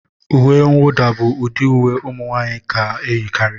Uwe nwuda bụ ụdị uwe ụmụ nwanyị na-eyikarị